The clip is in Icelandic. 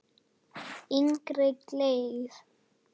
Innri gleði.